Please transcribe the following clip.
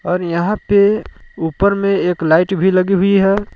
और यहां पे ऊपर में एक लाइट भी लगी हुई है।